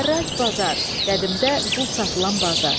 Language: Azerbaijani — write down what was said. Hərrac bazar, qədimdə qul satılan bazar.